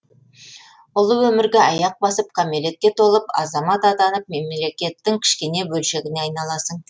ұлы өмірге аяқ басып кәмелетке толып азамат атанып мемлекеттің кішкене бөлшегіне айналасың